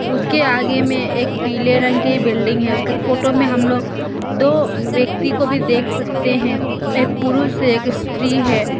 उसके आगे में एक पीले रंग की बिल्डिंग है उसका फोटो में हम लोग दो व्यक्ति को भी देख सकते हैं एक पुरुष एक स्त्री है।